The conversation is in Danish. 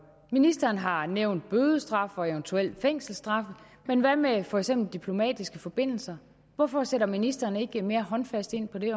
ministeren har nævnt bødestraf og eventuelt fængselsstraffe men hvad med for eksempel diplomatiske forbindelser hvorfor sætter ministeren ikke mere håndfast ind på det